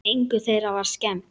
Engu þeirra var skemmt.